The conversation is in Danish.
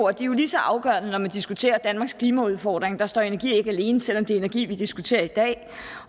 er jo lige så afgørende når man diskuterer danmarks klimaudfordring der står energi ikke alene selv om det er energi vi diskuterer i dag